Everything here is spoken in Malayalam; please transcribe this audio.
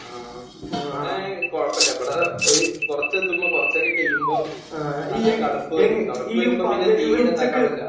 ആഹ്. ഇവിടെ കുഴപ്പമില്ല. ഇവിടെ ഒരു കുറച്ചെത്തുമ്പോൾ കുറച്ചൊക്കെ കഴിയുമ്പോൾ ഏഹ് നല്ല തണുപ്പ്